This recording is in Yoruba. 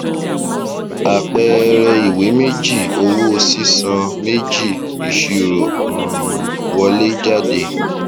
àpẹẹrẹ ìwé méjì owó sísan méjì ìṣirò um wọléjáde